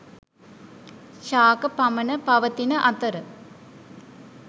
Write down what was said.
ශාක පමණ පවතින අතර